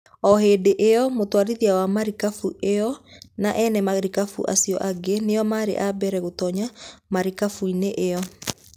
O hĩndĩ ĩyo, mũtwarithia wa marikabu ĩyo na ene marikabu acio angĩ nĩo maarĩ a mbere gũtoonya marikabu-inĩ ĩyo.